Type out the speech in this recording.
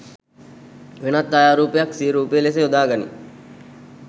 වෙනත් ඡයාරූපයක් සිය රූපය ලෙස යොදාගනි